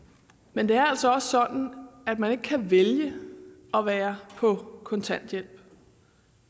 men det er altså også sådan at man ikke kan vælge at være på kontanthjælp og